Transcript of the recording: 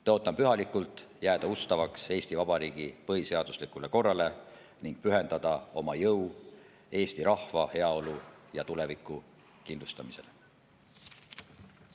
Tõotan pühalikult jääda ustavaks Eesti Vabariigi põhiseaduslikule korrale ning pühendada oma jõu eesti rahva heaolu ja tuleviku kindlustamisele.